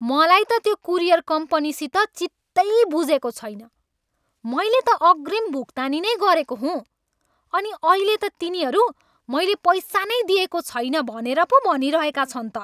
मलाई त त्यो कुरियर कम्पनीसित चित्तै बुझेको छैन। मैले त अग्रिम भुक्तानी नै गरेको हुँ, अनि अहिले त तिनीहरू मैले पैसा नै दिएको छैन भनेर पो भनिरहेका छन् त।